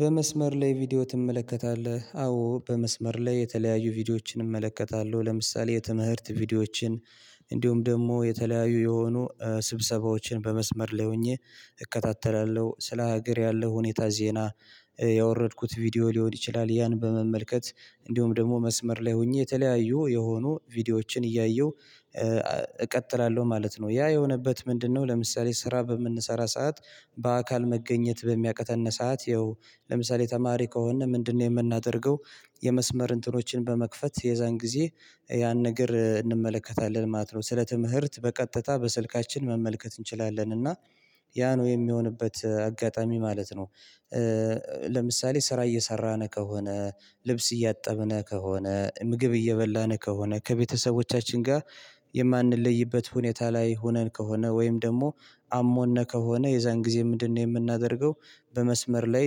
በመስመር ላይ ቪዲዮ ትመለከታለህ? አዎ በመስመር ላይ የተለያዩ ቪዲዮዎችን እመለከታለሁ። ለምሳሌ የትምህርት ቪዲዮዎችን ደግሞ የተለያዩ የሆኑ ስብሰባዎችን በመስመር ላይ ሆኜ እከታተላለሁ ስለ ሀገር ያለው ሁኔታ ዜና ያወረድኩት ቪዲዮ ሊሆን ይችላል ያን በመመልከት እንዲሁም ደግሞ መስመር ላይ ሆኜ የተለያዩ የሆኑ ቪዲዮዎችን እያየሁ እቀጥላለሁ ማለት ነው። ያ የሆነበት ምንድነው? ለምሳሌ ስራ በምንሰራ ሰዓት በአካል መገኘት በሚያቀጠንሳት ይኸው ለምሳሌ ተማሪ ከሆነ ምንድነው የምናደርገው የመስመር እንትኖችን በመክፈት የዛን ጊዜ ያን ነገር እንመለከታለን ማለት ነው። ስለ ትምህርት በቀጥታ በስልካችን መመልከት እንችላለን እና ያ ነው የሚሆንበት አጋጣሚ ማለት ነው። ለምሳሌ ስራ እየሰራን ከሆነ ልብስ እያጠብን ከሆነ ምግብ እየበላን ከሆነ ከቤተሰቦቻችን ጋር የማንለይበት ሁኔታ ላይ ሆነን ከሆነ ወይም ደግሞ አሞን ከሆነ የዛን ጊዜ ምንድነው? የምናደርገው በመስመር ላይ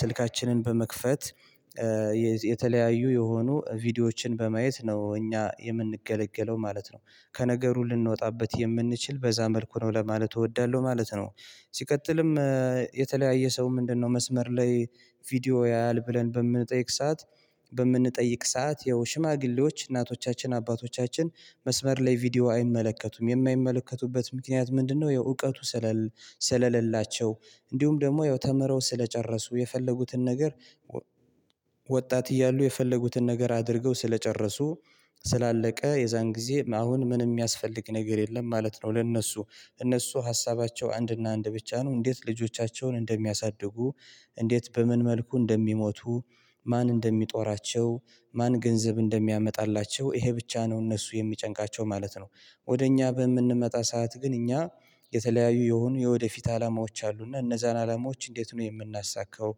ስልካችንን በመክፈት የተለያዩ የሆኑ ቪዲዮዎችን በማየት ነው እኛ የምንገለገለው ማለት ነው። ከነገሩ ልንወጣበት የምንችል በዛ መልኩ ነው ለማለት እወዳለሁ ማለት ነው። ሲቀጥልም የተለያየ ሰው ምንድነው መስመር ላይ ቪዲዮ ያያል ብለን በምንጠይቅ ሰዓት በምንጠይቅ ሰዓት ያው ሽማግሌዎች እናቶቻችን አባቶቻችን መስመር ላይ ቪዲዮ አይመለከቱም የማይመለከቱበት ምክንያት ምንድነው? የእውቀቱ ስለሌላቸው እንዲሁም ደግሞ ያው ተምረው ስለጨረሱ የፈለጉትን ነገር። ወጣት እያሉ የፈለጉትን ነገር አድርገው ስለጨረሱ ስላለቀ የዛን ጊዜ አሁን ምንም የሚያስፈልግ ነገር የለም ማለት ነው። ለእነሱ እነሱ ሀሳባቸው አንድና አንድ ብቻ ነው እንዴት ልጆቻቸውን እንደሚያሳድጉ እንዴት በምን መልኩ እንደሚሞቱ ማን እንደሚጦራቸው ማን ገንዘብ እንደሚያመጣላቸው ይሄ ብቻ ነው እነሱ የሚጨንቃቸው ማለት ነው። ወደ እኛ በምንመጣ ሰዓት ግን እኛ የተለያዩ የሆኑ የወደፊት አላማዎች አሉ እና እነዛን አላማዎች እንዴት ነው የምናሳካው?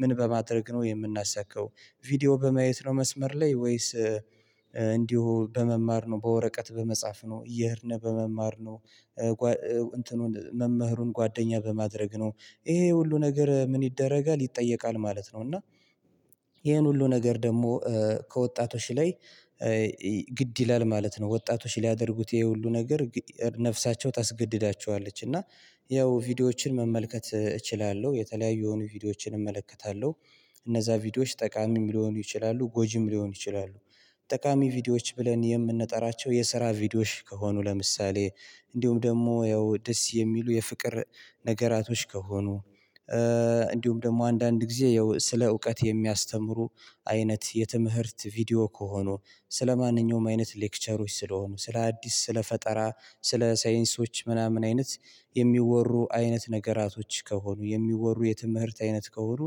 ምን በማድረግ ነው የምናሳካው? ቪዲዮ በማየት ነው መስመር ላይ ወይስ እንዲሁ በመማር ነው በወረቀት በመጻፍ ነው እየሄድነው በመማር ነው እንትኑን መምህሩን ጓደኛ በማድረግ ነው። ይሄ ሁሉ ነገር ምን ይደረጋል ይጠየቃል ማለት ነው እና ይሄን ሁሉ ነገር ደግሞ ከወጣቶች ላይ ይላል ማለት ነው። ወጣቶች ሊያደርጉት ይሄ ሁሉ ነገር ነፍሳቸው ታስገድዳቸዋለች እና ያው ቪዲዮዎችን መመልከት እችላለሁ የተለያዩ የሆኑ ቪዲዮዎችን እመለከታለሁ። እነዛ ቪዲዮዎች ጠቃሚ የሚለው ይችላሉ ጎጂም ሊሆኑ ይችላሉ። ጠቃሚ ቪዲዮዎች ብለን የምንጠራቸው የስራ ቪዲዮሽ ከሆኑ ለምሳሌ እንዲሁም ደግሞ ያው ደስ የሚሉ የፍቅር ነገራቶች ከሆኑ እንዲሁም ደግሞ አንዳንድ ጊዜ ይኸው ስለ እውቀት የሚያስተምሩ አይነት የትምህርት ቪዲዮ ከሆኑ ስለማንኛውም አይነት ሌክቸሮች ስለሆኑ ስለ አዲስ ስለ ፈጠራ ስለ ሳይንሶች ምናምን አይነት የሚወሩ አይነት ነገራቶች ከሆኑ የሚወሩ የትምህርት አይነት ከሆኑ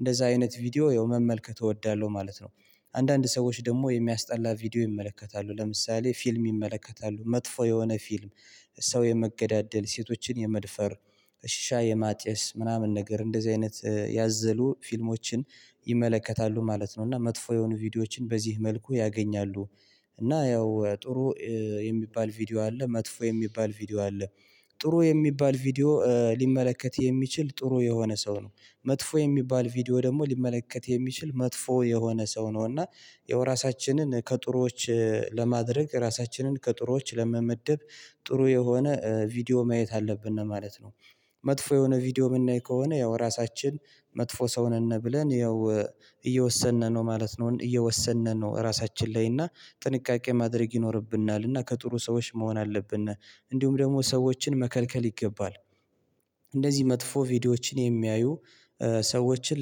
እንደዛ አይነት ቪዲዮ የመመልከት እወዳለሁ ማለት ነው። አንዳንድ ሰዎች ደግሞ የሚያስጠላ ቪዲዮ ይመለከታሉ ለምሳሌ ፊልም ይመለከታሉ መጥፎ የሆነ ፊልም ሰው የመገዳደል ሴቶችን የመድፈር ሽሻ የማጨስ ምናምን ነገር እንደዚህ አይነት ያዘሉ ፊልሞችን ይመለከታሉ ማለት ነው እና መጥፎ የሆኑ ቪዲዮዎችን በዚህ መልኩ ያገኛሉ። እና ያው ጥሩ የሚባል ቪዲዮ አለ መጥፎ የሚባል ቪዲዮ አለ። ጥሩ የሚባል ቪዲዮ ሊመለከት የሚችል ጥሩ የሆነ ሰው ነው መጥፎ የሚባል ቪዲዮ ደግሞ ሊመለከት የሚችል መጥፎ የሆነ ሰው ነው እና ያው እራሳችንን ከጥሩዎች ለማድረግ ራሳችንን ከጥሩዎች ለመመደብ ጥሩ የሆነ ቪዲዮ ማየት አለብን ነው ማለት ነው። መጥፎ የሆነ ቪዲዮ የምናይ ከሆነ ያው ራሳችን መጥፎ ሰው ነን ብለን ያው እየወሰንን ነው ማለት ነው እየወሰንን ነው እራሳችን ላይ እና ጥንቃቄ ማድረግ ይኖርብናል እና ከጥሩ ሰዎች መሆን አለብን። እንዲሁም ደግሞ ሰዎችን መከልከል ይገባል እንደዚህ መጥፎ ቪዲዮዎችን የሚያዩ ሰዎችን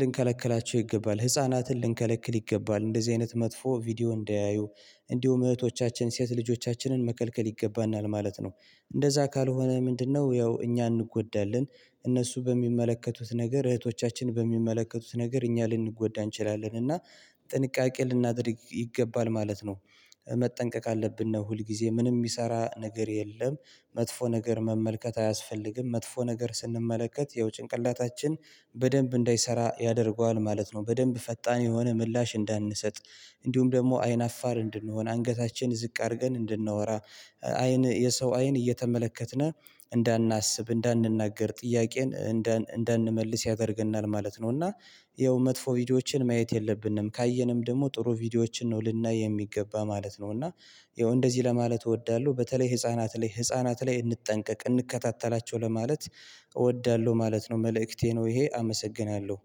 ልንከለከላቸው ይገባል ህፃናትን ልንከለክል ይገባል እንደዚህ አይነት መጥፎ ቪዲዮ እንዳያዩ እንዲሁም እህቶቻችን ሴት ልጆቻችንን መከልከል ይገባናል ማለት ነው። እንደዛ ካልሆነ ምንድነው ያው እኛ እንጎዳለን እነሱ በሚመለከቱት ነገር እህቶቻችን በሚመለከቱት ነገር እኛ ልንጎዳ እንችላለን እና ጥንቃቄ ልናደርግ ይገባል ማለት ነው። መጠንቀቅ አለብን ነው ሁል ጊዜ ምንም የሚሰራ ነገር የለም መጥፎ ነገር መመልከት አያስፈልግም መጥፎ ነገር ስንመለከት ይኸው ጭንቅላታችን በደንብ እንዳይሰራ ያደርገዋል ማለት ነው። በደንብ ፈጣን የሆነ ምላሽ እንዳንሰጥ እንዲሁም ደግሞ አይን አፋር እንድንሆን አንገታችን ዝቅ አድርገን እንድናወራ አይን የሰው አይን እየተመለከትን እንዳናስብ እንዳንናገር ጥያቄን እንዳንመልስ ያደርገናል ማለት ነው እና ያው መጥፎ ቪዲዮዎችን ማየት የለብንም ካየንም ደግሞ ጥሩ ቪዲዮዎችን ነው ልናይ የሚገባ ማለት ነው። እና ይኸው እንደዚህ ለማለት እወዳለሁ በተለይ ህፃናት ላይ ህፃናት ላይ እንጠንቀቅ እንከታተላቸው ለማለት እወዳለሁ ማለት ነው። መልእክቴ ነው ይሄ አመሰግናለሁ